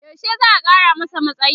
yaushe za'a Kara masa matsayi?